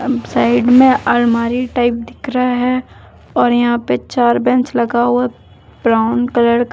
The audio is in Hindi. साइड में अलमारी टाइप दिख रहा है और यहां पे चार बेंच लगा हुआ है ब्राउन कलर का।